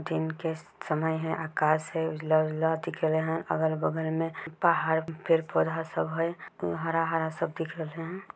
दिन के समय है अकाश है उजला-उजला दिखेल है अगल-बगल में पहाड़ फिर पौधा सब है हरा-हरा सब दिखल है।